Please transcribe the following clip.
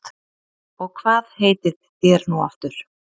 Og hvað heitið þér nú aftur